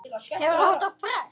Því ber að fagna.